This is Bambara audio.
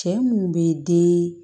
Cɛ munnu be den